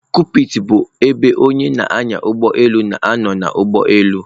Kokpiti bụ ebe onye na-anya ụgbọelu na-anọ n'ụgbọelu.